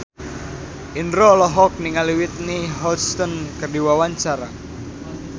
Indro olohok ningali Whitney Houston keur diwawancara